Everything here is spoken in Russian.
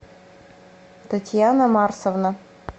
татьяна марсовна